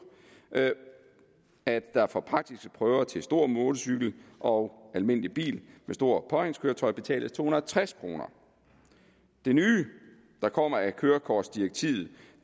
at der for praktiske prøver til stor motorcykel og almindelig bil med stort påhængskøretøj betales to hundrede og tres kroner det nye der kommer af kørekortdirektivet